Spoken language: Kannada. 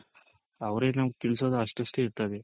ಅವ್ರಿಗ್ ನಾವ್ ತಿಳಿಸೋದು ಅಷ್ಟಷ್ಟೇ ಇರ್ತದೆ